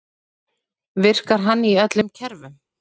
Virkar hann í öllum kerfum?